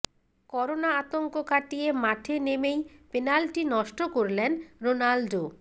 corona আতঙ্ক কাটিয়ে মাঠে নেমেই পেনাল্টি নষ্ট করলেন রোনাল্ডো